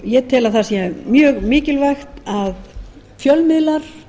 ég tel að það sé mjög mikilvægt að fjölmiðlar